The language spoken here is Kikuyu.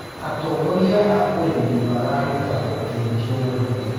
Atongorĩa a ũrĩmĩ mararũta ũteĩthĩo mũnene